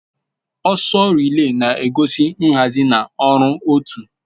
Ọsọ rịlè na-egosi nhazi na ọrụ otu